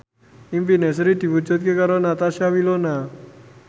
impine Sri diwujudke karo Natasha Wilona